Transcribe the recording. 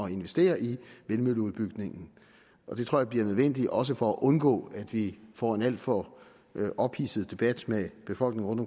investere i vindmølleudbygningen det tror jeg bliver nødvendigt også for at undgå at vi får en alt for ophidset debat med befolkningen